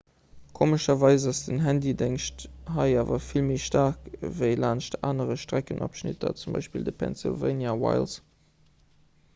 komescherweis ass den handydéngscht hei awer vill méi staark ewéi laanscht anere streckenabschnitter z b de pennsylvania wilds